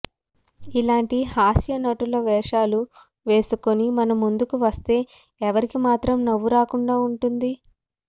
ఇలాంటి హాస్య నటుల వేషాలు వేసుకుని మన ముందుకు వస్తే ఎవరికి మాత్రం నవ్వు రాకుండా ఉంటుంది